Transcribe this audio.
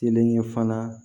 Kelen ye fana